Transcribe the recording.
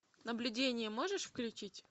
наблюдение можешь включить